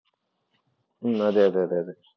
ഉം അതെ അതെ അതേ.